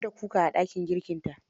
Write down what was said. Har da kuka a dakin girkinta.